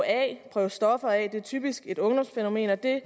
at prøve stoffer af er typisk et ungdomsfænomen og det